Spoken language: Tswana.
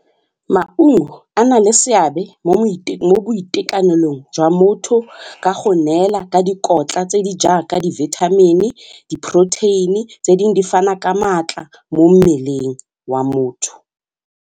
Maungo a na le seabe mo boitekanelong jwa motho ka go neela ka dikotla tse di jaaka di vitamin-e, di-protein-e tse dingwe di fana ka maatla mo mmeleng wa motho.